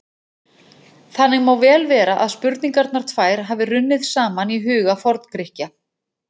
Þannig má vel vera að spurningarnar tvær hafi runnið saman í huga Forngrikkja.